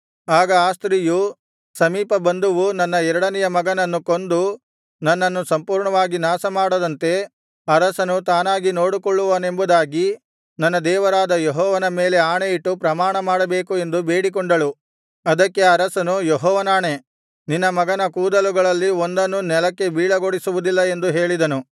ಆಗ ಆ ಸ್ತ್ರೀಯು ಸಮೀಪ ಬಂಧುವು ನನ್ನ ಎರಡನೆಯ ಮಗನನ್ನು ಕೊಂದು ನನ್ನನ್ನು ಪೂರ್ಣವಾಗಿ ನಾಶಮಾಡದಂತೆ ಅರಸನು ತಾನಾಗಿ ನೋಡಿಕೊಳ್ಳುವನೆಂಬುದಾಗಿ ನನ್ನ ದೇವರಾದ ಯೆಹೋವನ ಮೇಲೆ ಆಣೆಯಿಟ್ಟು ಪ್ರಮಾಣಮಾಡಬೇಕು ಎಂದು ಬೇಡಿಕೊಂಡಳು ಅದಕ್ಕೆ ಅರಸನು ಯೆಹೋವನಾಣೆ ನಿನ್ನ ಮಗನ ಕೂದಲುಗಳಲ್ಲಿ ಒಂದನ್ನೂ ನೆಲಕ್ಕೆ ಬೀಳಗೊಡಿಸುವುದಿಲ್ಲ ಎಂದು ಹೇಳಿದನು